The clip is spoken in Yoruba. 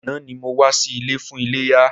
Àná ni mo wá sí ilé fún iléyá.